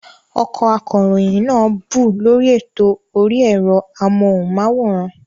Ọkọ akọ̀ròyìn náà bú u lórí ètò orí ẹ̀rọ amóhùnmáwòrán